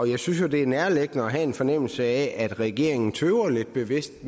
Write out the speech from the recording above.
jeg synes jo det er nærliggende at have en fornemmelse af at regeringen tøver lidt bevidst